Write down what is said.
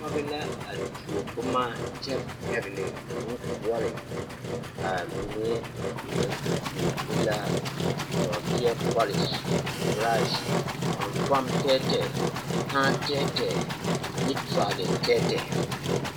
Pɔge la a tuo boma kyɛ pɛgele boŋkoɔre, amine o naŋ tuo e la nɔɔteɛ pɔlese, borase, fanfaŋ tɛɛtɛɛ, kãã tɛɛtɛɛ ane turaali tɛɛtɛɛ.